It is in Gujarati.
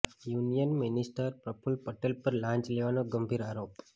યુનિયન મિનિસ્ટર પ્રફુલ પટેલ પર લાંચ લેવાનો ગંભીર આરોપ